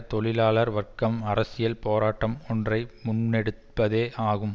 தொழிலாளர் வர்க்கம் அரசியல் போராட்டம் ஒன்றை முன்னெடுப்பதே ஆகும்